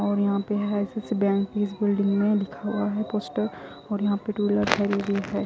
और यहां पे है आई_सी_सी बैंक की इस बिल्डिंग में लिखा हुआ है पोस्टर और यहां पे टू व्हीलर खड़ी हुई है।